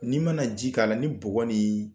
N'i mana ji k'a la ni bɔgɔ lee